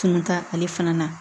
Kun t'a ale fana na